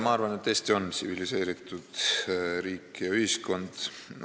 Ma arvan, et Eesti on tsiviliseeritud riik ja ühiskond.